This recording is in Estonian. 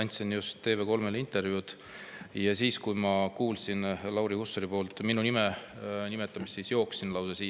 Andsin just TV3-le intervjuud, ja kui kuulsin Lauri Hussarit minu nime nimetamas, lausa jooksin siia saali.